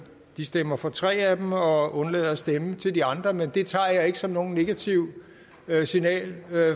de stemmer for tre af dem og undlader at stemme til de andre men det tager jeg ikke som noget negativt signal